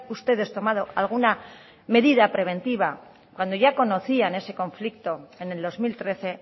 ustedes tomado alguna medida preventiva cuando ya conocían ese conflicto en el dos mil trece